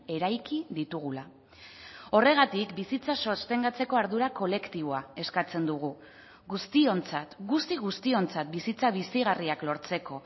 eraiki ditugula horregatik bizitza sostengatzeko ardura kolektiboa eskatzen dugu guztiontzat guzti guztiontzat bizitza bizigarriak lortzeko